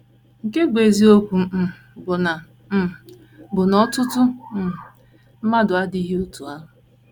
Nke bụ́ eziokwu um bụ na um bụ na ọtụtụ um mmadụ adịghị otú ahụ.